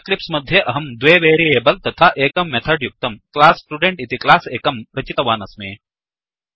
Eclipse मध्ये अहं द्वे वेरियेबल् तथा एकं मेथड् युक्तं क्लास स्टुडेन्ट् इति क्लास् एकं रचितवानस्मि